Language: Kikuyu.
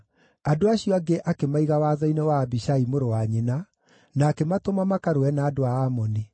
Andũ acio angĩ akĩmaiga watho-inĩ wa Abishai mũrũ wa nyina, na akĩmatũma makarũe na andũ a Amoni.